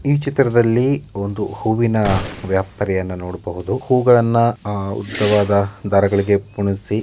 ಈ ಚಿತ್ರದಲ್ಲಿ ಒಂದು ಹೂವಿನ ವ್ಯಾಪಾರಿಯನ್ನ ನೋಡಬಹುದು. ಹೂಗಳನ್ನ ಉದ್ದವಾದ ದಾರಗಳಿಗೆ ಪೋಣಿಸಿ--